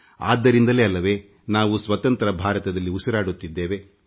ಹೀಗಾಗಿ ಇಂದು ನಾವು ಸ್ವತಂತ್ರ ಭಾರತದಲ್ಲಿ ಮುಕ್ತವಾಗಿ ಉಸಿರಾಡುತ್ತಿದ್ದೇವೆ